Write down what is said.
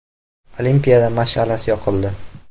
Olimpiada mash’alasi yoqildi.